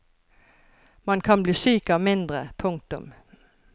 Man kan bli syk av mindre. punktum